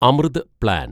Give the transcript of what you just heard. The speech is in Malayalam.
അമൃത് പ്ലാൻ